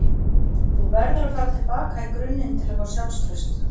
Þú verður að fara til baka í grunninn til að fá sjálfstraust.